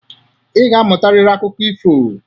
Ị ga-amụtarịrị akụkọ ifo.